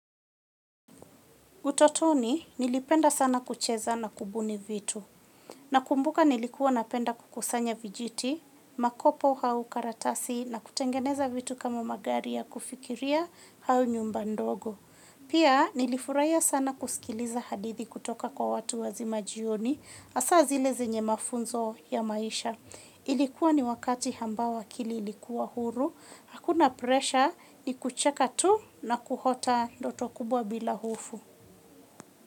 Utotoni nilipenda sana kucheza na kubuni vitu, nakumbuka nilikuwa napenda kukusanya vijiti, makopo au karatasi na kutengeneza vitu kama magari ya kufikiria au nyumba ndogo. Pia nilifurahia sana kusikiliza hadithi kutoka kwa watu wazima jioni, asa zile zenye mafunzo ya maisha. Ilikuwa ni wakati ambao akili ilikuwa huru, hakuna presha ni kucheka tu na kuota ndoto kubwa bila hofu.